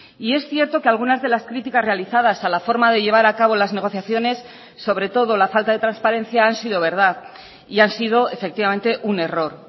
y es cierto que algunas de las críticas realizadas a la forma de llevar acabo las negociaciones sobre todo la falta de transparencia han sido verdad y han sido efectivamente un error